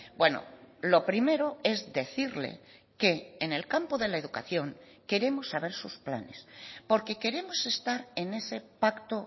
bueno lo primero es decirle que en el campo de la educación queremos saber sus planes porque queremos estar en ese pacto